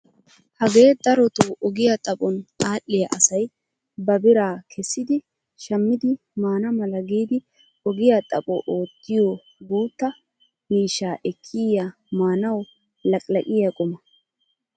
Hagee darotoo ogiya xaphon adhiyaa asay ba biraa kessidi shammidi maana mala giidi ogiyaa xapho oottiyoo guutta miishsha ekkiyaa maanawu laqilaqiyaa quma!